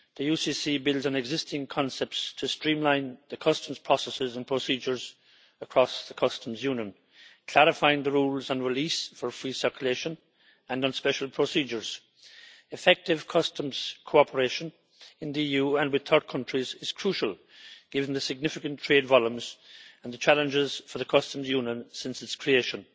The UCC builds on existing concepts to streamline the customs processes and procedures across the Customs Union, clarifying the rules on release for free circulation and on special procedures. Effective customs cooperation in the EU and with third countries is crucial, given the significant trade volumes and the challenges for the Customs Union since its creation.